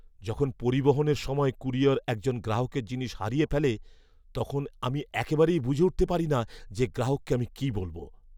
যখন পরিবহনের সময় ক্যুরিয়র একজন গ্রাহকের জিনিস হারিয়ে ফেলে, তখন আমি একেবারেই বুঝে উঠতে পারি না যে গ্রাহককে আমি কী বলব।